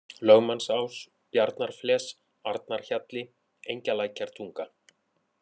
Lögmannsás, Bjarnafles, Arnarhjalli, Engjalækjartunga